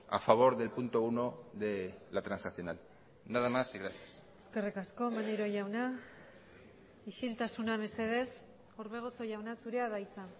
a favor del punto uno de la transaccional nada más y gracias eskerrik asko maneiro jauna isiltasuna mesedez orbegozo jauna zurea da hitza